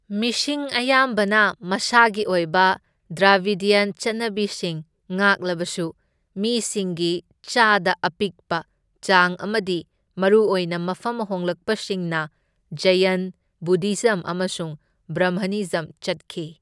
ꯃꯤꯁꯤꯡ ꯑꯌꯥꯝꯕꯅ ꯃꯁꯥꯒꯤ ꯑꯣꯏꯕ ꯗ꯭ꯔꯥꯕꯤꯗ꯭ꯌꯟ ꯆꯠꯅꯕꯤꯁꯤꯡ ꯉꯥꯛꯂꯕꯁꯨ, ꯃꯤꯁꯤꯡꯒꯤ ꯆꯥꯗ ꯑꯄꯤꯛꯄ ꯆꯥꯡ ꯑꯃꯗꯤ ꯃꯔꯨꯑꯣꯏꯅ ꯃꯐꯝ ꯍꯣꯡꯂꯛꯄꯁꯤꯡꯅ ꯖꯩꯑꯟ, ꯕꯨꯙꯤꯖꯝ ꯑꯃꯁꯨꯡ ꯕ꯭ꯔꯥꯝꯍꯅꯤꯖꯝ ꯆꯠꯈꯤ꯫